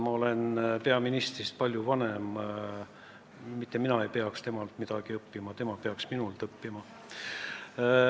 Ma olen peaministrist palju vanem ja mitte mina ei peaks temalt midagi õppima, vaid tema peaks minult õppima.